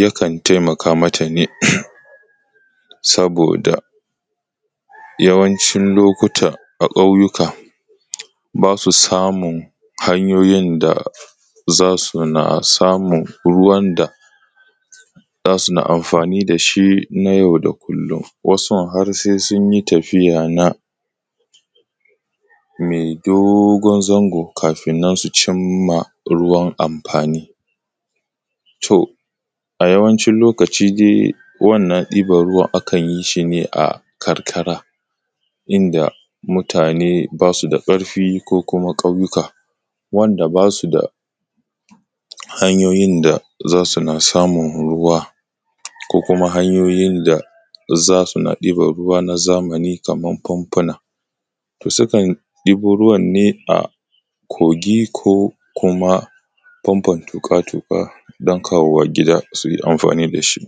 yakan taimaka mata ne sosai domin a yawancin lokaci a ƙauyika ba su samun hanyoyin da za su na samun ruwa da za suna amfani da shi na yau da kulum, wasun har se sun yi tafiya na me dogon zango kafun cin ma ruwan amfani to a yawancin lokaci dai wannan ɗiban ruwa akan yi shi ne a karkara inda mutane ba su da ƙarfi ko kuma ƙauyuka wanda ba su da hanyoyin da za su na ɗiban ruwa na zamani kaman na fanfuna, to sukan ɗibo ruwan ne a kogi ko kuma fanfun toƙa-toƙa don kawo wa gida su yi amfani da shi.